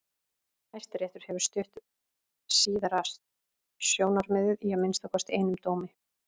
Hæstiréttur hefur stutt síðara sjónarmiðið í að minnsta kosti einum dómi.